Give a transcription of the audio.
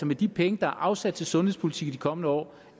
med de penge der er afsat til sundhedspolitik i de kommende år